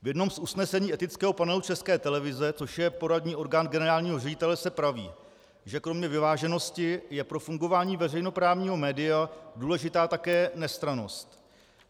V jednom z usnesení etického panelu České televize, což je poradní orgán generálního ředitele, se praví, že kromě vyváženosti je pro fungování veřejnoprávního média důležitá také nestrannost.